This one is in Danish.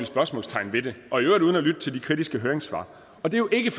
spørgsmålstegn ved det og i øvrigt uden at lytte til de kritiske høringssvar det er jo ikke